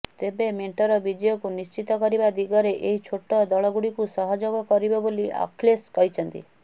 ତେବେ ମେଣ୍ଟର ବିଜୟକୁ ନିଶ୍ଚିତ କରିବା ଦିଗରେ ଏହି ଛୋଟ ଦଳଗୁଡିକ ସହଯୋଗ କରିବେ ବୋଲି ଅଖିଳେଶ କହିଛନ୍ତି